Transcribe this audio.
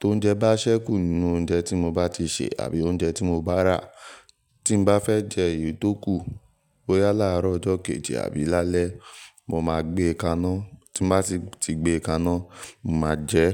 Tó ń jẹ bá ṣẹ́kù nínú oúnjẹ tí mo bá ti sè àbí oúnjẹ tí mo bá rà, tí n bá fẹ́ jẹ èyí tó kù, bóyá láàrọ̀ ọjọ́ kejì àbí lálẹ́, mo máa gbé e kaná. Tí n bá si ti gbé e kaná, mo máa jẹ ẹ́.